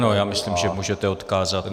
Ano, já myslím, že můžete odkázat.